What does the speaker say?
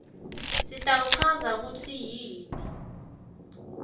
sitawuchaza kutsi yini